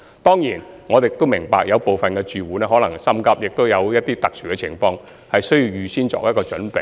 當然，我們亦明白有部分準租戶可能心急或有特殊情況需要預先作準備。